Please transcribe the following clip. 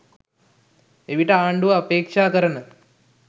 එවිට ආණ්ඩුව අපේක්ෂා කරන